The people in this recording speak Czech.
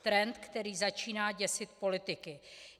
Trend, který začíná děsit politiky.